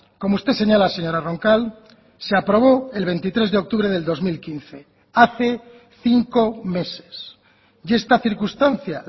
como usted señala señora roncal se aprobó el veintitrés de octubre del dos mil quince hace cinco meses y esta circunstancia